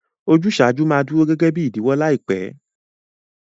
Ojúsàjú ma duro gẹgẹ bi ìdíwọ́ làìpẹ́